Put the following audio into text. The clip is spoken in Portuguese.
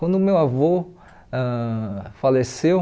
Quando meu avô ãh faleceu,